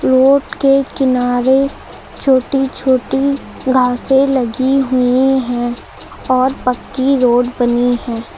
Road के किनारे छोटी छोटी घासे लगी हुई हैं और पक्की रोड बनी है।